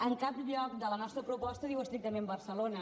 en cap lloc de la nostra proposta diu estrictament barcelona